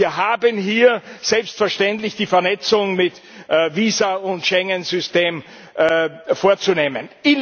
Wir haben hier selbstverständlich die Vernetzung mit Visa und Schengen System vorzunehmen.